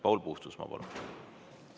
Paul Puustusmaa, palun!